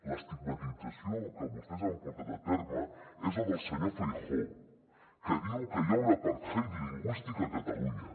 l’estigmatització que vostès han portat a terme és la del senyor feijóo que diu que hi ha un apartheid lingüístic a catalunya